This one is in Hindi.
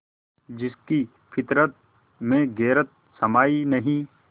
जिसकी फितरत में गैरत समाई नहीं